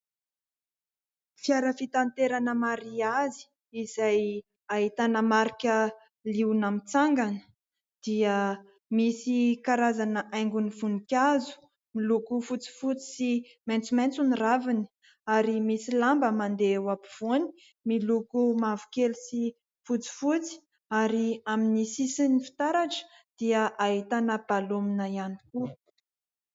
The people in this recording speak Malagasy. Fiara fitaterana mariazy izay ahitana marika liona mitsangana dia misy karazana haingon'ny voninkazo miloko fotsifotsy sy maitsomaitso ny raviny ary misy lamba mandeha ho ampovoany miloko mavokely sy fotsifotsy ary amin'ny sisiny fitaratra dia ahitana balomina ihany koa.